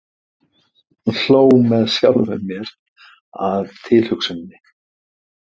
Hló með sjálfri mér að tilhugsuninni.